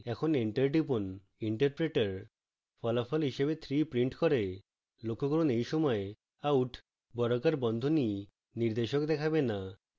interpreter ফলাফল হিসাবে 3 prints করে